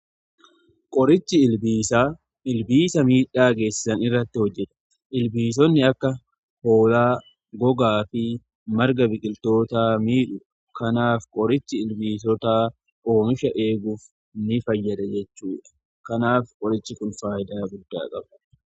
Qorichi ilbiisaa, ilbiisa miidhaa geessisan irratti hojjeta. Ilbiisonni akka hoolaa, gogaa fi marga biqiltootaa miidhu. Kanaaf qorichi ilbiisotaa oomisha eeguuf ni fayyada jechuudha. Kanaaf qorichi kun faayidaa guddaa qabu.